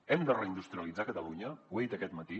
hem de reindustrialitzar catalunya ho he dit aquest matí